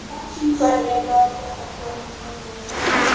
Hvernig gat þetta komið heim og saman?